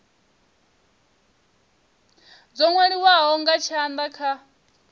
dzo nwaliwaho nga tshanda kha